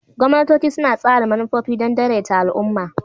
Gwamnatoci suna tsara manufofi don daidaita al'umma.